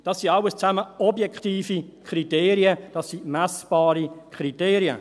Das sind alles objektive Kriterien, das sind messbare Kriterien.